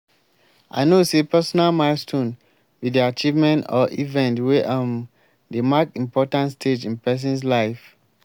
i know say personal milestone be di achievement or event wey um dey mark important stage in person's life.